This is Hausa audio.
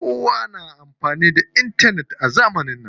Kowa na amfani da intanet a zamanin nan.